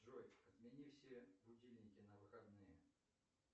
джой отмени все будильники на выходные